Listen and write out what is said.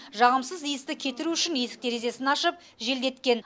жағымсыз иісті кетіру үшін есік терезесін ашып желдеткен